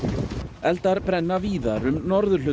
eldar brenna víðar um norðurhluta